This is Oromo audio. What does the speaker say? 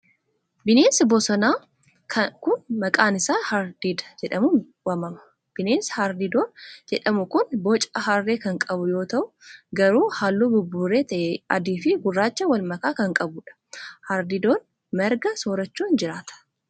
Bineensi bosonaa kun, maqaan isaa harreediidoo jedhamuun waamaama. Bineensi harree diidoo jedhamu kun, boca harree kan qabu yoo ta'u garuu haalluu buburree ta'e adii fi gurraacha walmakaa kan qabuu dha. Harreediidoon, marga soorachuun jiraata.